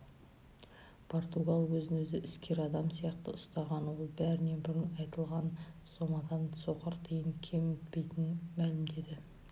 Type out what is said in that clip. португал өзін өзі іскер адам сияқты ұстаған ол бәрінен бұрын айтылған сомадан соқыр тиын кемітпейтінін мәлімдеді